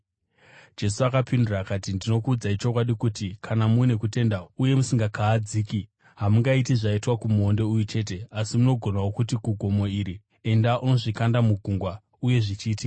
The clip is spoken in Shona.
Jesu akapindura akati, “Ndinokuudzai chokwadi kuti kana mune kutenda uye musingakahadziki, hamungaiti zvaitwa kumuonde uyu chete, asi munogonawo kuti kugomo iri, ‘Enda undozvikanda mugungwa’ uye zvichaitika.